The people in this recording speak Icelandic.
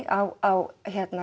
á